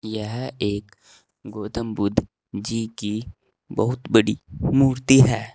यह एक गौतम बुद्ध जी की बहुत बड़ी मूर्ति है।